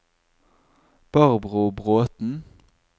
Barbro Bråten